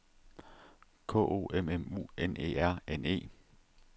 K O M M U N E R N E